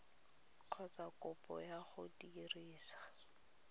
kgotsa kopo ya go dirisa